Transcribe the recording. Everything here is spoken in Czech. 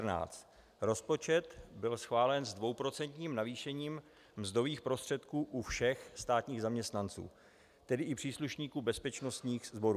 Rozpočet byl schválen s dvouprocentním navýšením mzdových prostředků u všech státních zaměstnanců, tedy i příslušníků bezpečnostních sborů.